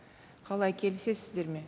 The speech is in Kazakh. қалай келісесіздер ме